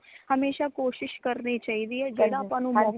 ਹਮੇਸ਼ਾ ਕੋਸ਼ਿਸ਼ ਕਰਨੀ ਚਾਹੀਦੀ ਹੈ ਜੇੜਾ ਆਪਾ ਨੂ ਮੌਕਾ